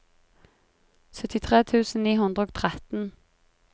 syttitre tusen ni hundre og tretten